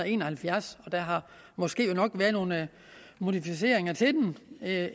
en og halvfjerds der har måske nok været nogle modificeringer af